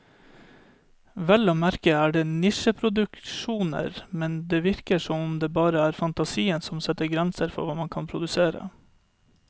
Vel å merke er det nisjeproduksjoner, men det virker som om det bare er fantasien som setter grenser for hva man kan produsere.